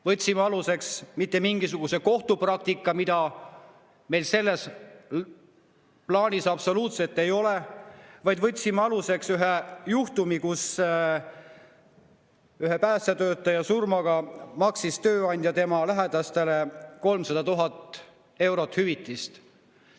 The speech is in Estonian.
Võtsime aluseks mitte mingisuguse kohtupraktika, mida meil selles plaanis absoluutselt ei ole, vaid ühe juhtumi, kui päästetöötaja surma korral maksis tööandja tema lähedastele 300 000 eurot hüvitist.